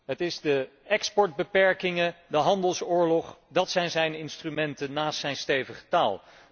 Het zijn de exportbeperkingen, de handelsoorlog, dat zijn zijn instrumenten, naast zijn stevige taal.